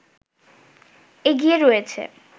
এগিয়ে রয়েছে